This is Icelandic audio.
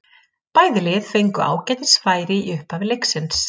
Bæði lið fengu ágætis færi í upphafi leiksins.